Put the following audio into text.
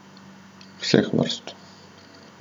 Vseh vrst!